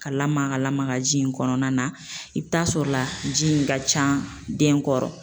Ka lamaka lamaka ji in kɔnɔna na, i bi taa sɔrɔ la ji in ka ca den kɔrɔ